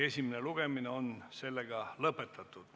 Esimene lugemine on lõpetatud.